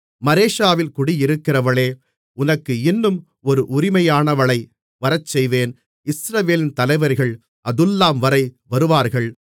மரேஷாவில் குடியிருக்கிறவளே உனக்கு இன்னும் ஒரு உரிமையாளனை வரச்செய்வேன் இஸ்ரவேலின் தலைவர்கள் அதுல்லாம் வரை வருவார்கள்